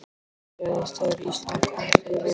Hvað gerðist þegar Ísland komst yfir?